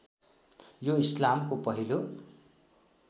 यो इस्लामको पहिलो